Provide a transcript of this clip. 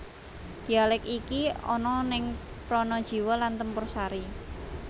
Dialek iki ana ning Pranajiwo lan Tempursari